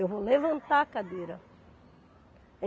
Eu vou levantar a cadeira.